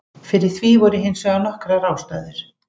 Fyrir því voru hins vegar nokkrar ástæður.